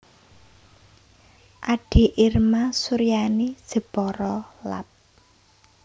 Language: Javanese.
Ade Irma Suryani Jepara Lab